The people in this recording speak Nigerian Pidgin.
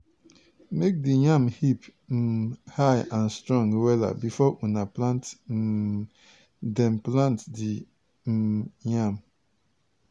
make di yam heap um high and strong wella before una put um dem plant di um yam.